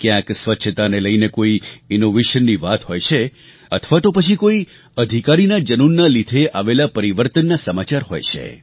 ક્યાંક સ્વચ્છતાને લઈને કોઈ ઇનોવેશનની વાત હોય છે અથવા તો પછી કોઈ અધિકારીનાં જનૂનના લીધે આવેલા પરિવર્તનનાં સમાચાર હોય છે